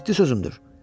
Ciddi sözümdür.